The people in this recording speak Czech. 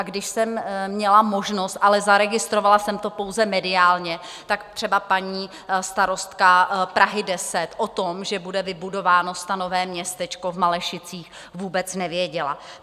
A když jsem měla možnost, ale zaregistrovala jsem to pouze mediálně, tak třeba paní starostka Prahy 10 o tom, že bude vybudováno stanové městečko v Malešicích, vůbec nevěděla.